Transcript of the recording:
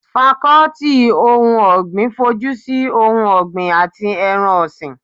Fakọ́tì ohun ọ̀gbìn fojúsi ohun ọ̀gbin àti ẹran ọ̀sìn